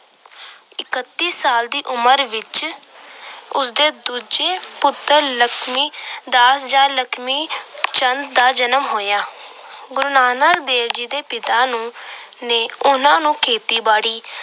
ਇੱਕਤੀ ਸਾਲ ਦੀ ਉਮਰ ਵਿੱਚ ਉਸਦੇ ਦੂਜੇ ਪੁੱਤਰ ਲਖਮੀ ਜਾਂ ਲਖਮੀ ਚੰਦ ਦਾ ਜਨਮ ਹੋਇਆ। ਗੁਰੂ ਨਾਨਕ ਦੇ ਪਿਤਾ ਨੂੰ ਅਹ ਨੇ ਉਹਨਾਂ ਨੂੰ ਖੇਤੀਬਾੜੀ